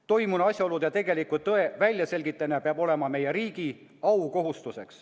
Toimunu asjaolude ja tegeliku tõe väljaselgitamine peab olema meie riigi aukohustus.